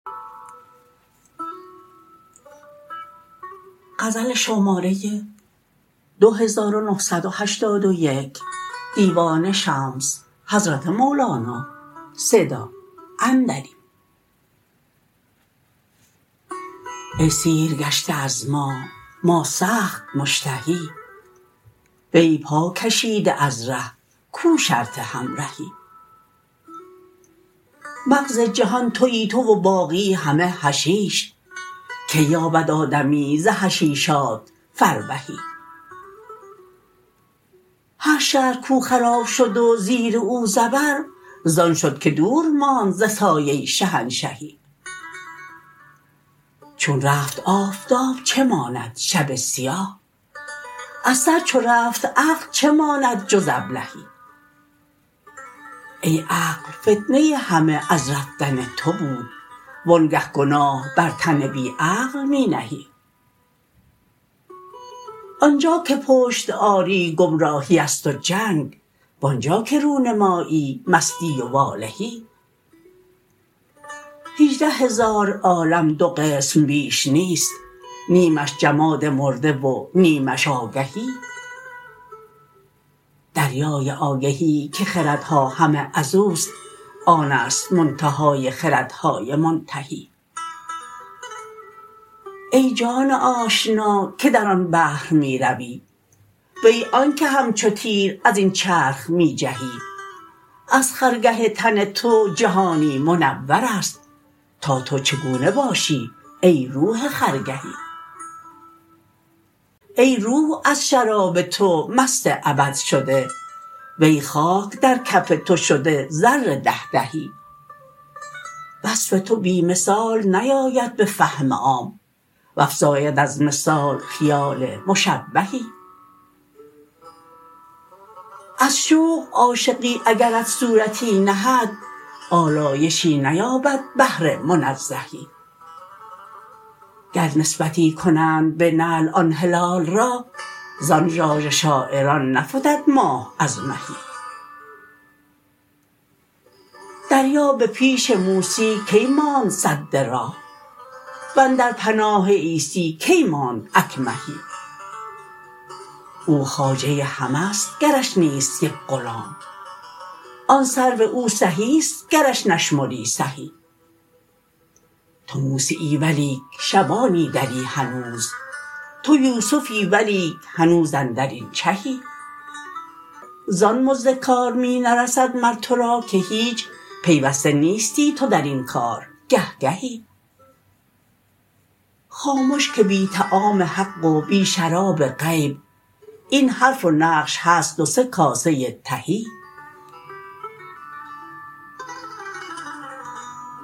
ای سیرگشته از ما ما سخت مشتهی وی پاکشیده از ره کو شرط همرهی مغز جهان توی تو و باقی همه حشیش کی یابد آدمی ز حشیشات فربهی هر شهر کو خراب شد و زیر او زبر زان شد که دور ماند ز سایه شهنشهی چون رفت آفتاب چه ماند شب سیاه از سر چو رفت عقل چه ماند جز ابلهی ای عقل فتنه ای همه از رفتن تو بود وآنگه گناه بر تن بی عقل می نهی آن جا که پشت آری گمراهی است و جنگ و آن جا که رو نمایی مستی و والهی هجده هزار عالم دو قسم بیش نیست نیمش جماد مرده و نیمیش آگهی دریای آگهی که خردها همه از او است آن است منتهای خردهای منتهی ای جان آشنا که در آن بحر می روی وی آنک همچو تیر از این چرخ می جهی از خرگه تن تو جهانی منور است تا تو چگونه باشی ای روح خرگهی ای روح از شراب تو مست ابد شده وی خاک در کف تو شد زر ده دهی وصف تو بی مثال نیاید به فهم عام وافزاید از مثال خیال مشبهی از شوق عاشقی اگرت صورتی نهد آلایشی نیابد بحر منزهی گر نسبتی کنند به نعل آن هلال را زان ژاژ شاعران نفتد ماه از مهی دریا به پیش موسی کی ماند سد راه و اندر پناه عیسی کی ماند اکمهی او خواجه همه ست گرش نیست یک غلام آن سرو او سهی است گرش نشمری سهی تو موسیی ولیک شبانی دری هنوز تو یوسفی ولیک هنوز اندر این چهی زان مزد کار می نرسد مر تو را که هیچ پیوسته نیستی تو در این کار گه گهی خامش که بی طعام حق و بی شراب غیب این حرف و نقش هست دو سه کاسه تهی